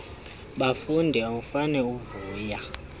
bafondini awufane uvuya